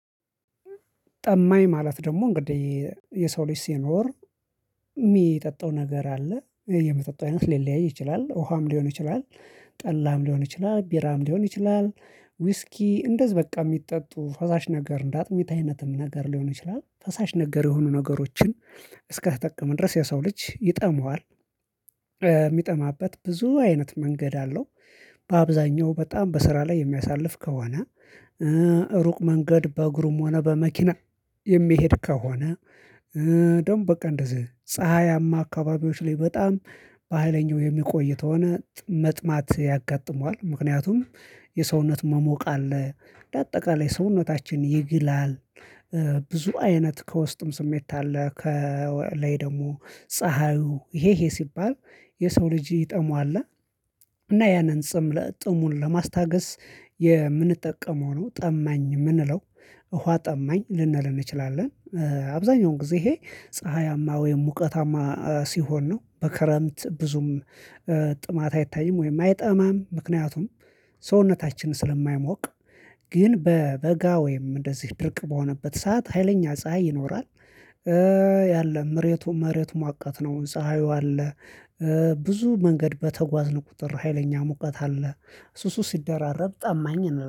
ጠማኝ ማለት ደግሞ እንግዲህ የሰው ልጅ ሲኖር የሚጠጣው ነገር አለ የሚጠጣው አይነት ሊለያይ ይችላል ውሃም ሊሆን ይችላል፥ ጠላም ሊሆን ይችላል ፥ቢራም ሊሆን ይችላል፥ ውስኪ እንደዚህ በቃ የሚጠጡ ፈሳሽ ነገር እንደ አጥሚት አይነት ነገር ሊሆን ይችላል ፈሳሽ ነገር የሆኑ ነገሮችን እስከተጠቀመ ድረስ የሰው ልጅ ይጠመዋል። የሚጠማበት ብዙ አይነት መንገድ አለው። በአብዛኛው በጣም በስራ ላይ የሚያሳልፍ ከሆነ ፥ሩቅ መንገድ በእግሩም ሆነ በመኪና የሚሄድ ከሆነ ደግሞ በቃ እንደዚህ ፀሀያማ አካባቢዎች ላይ በጣም በሃይለኛው የሚቆይ ተሆነ መጥማት ያጋጥመዋል። ምክንያቱም የሰውነት መሞቅ አለ በአጠቃላይ ሰውነታችን ይግላል ብዙ አይነት ከውስጥም ስሜት አለ ከላይ ደግሞ ፀሀዩ ይሄ ይሄ ሲባል የሰው ልጅ ይጠሙዋል። እና ያንን ጽም ጥሙን ለማስታገስ የምንጠቀመው ነው። ጠማኝ የምንለው ውሃ ጠማኝ ልንል እንችላለን አብዛኛውን ጊዜ ይሄ ፀሀያማ ወይም ሙቀታማ ሲሆን ነው። በክረምት ብዙም ጥማት አይታይም ወይም አይጠማም ምክንያቱም ሰውነታችን ስለማይሞቅ ግን በበጋ ወይም እንደዚህ ድርቅ በሆነበት ሰዓት ሀይለኛ ፀሀይ ይኖራል ያለ መሬቱ መሬቱ ሞቃት ነው፥ ፀሀዩ አለ ብዙ መንገድ በተጓዝን ቁጥር ሀይለኛ ሙቀት አለ እሱ እሱ ሲደራረብ ጠማኝ